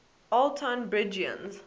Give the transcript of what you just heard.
old tonbridgians